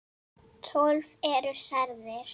Tólf eru særðir.